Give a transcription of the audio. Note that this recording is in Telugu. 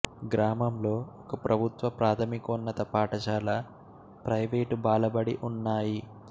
గ్రామంలో ఒక ప్రభుత్వ ప్రాధమికోన్నత పాఠశాల ప్రైవేటు బాలబడి ఉన్నాయి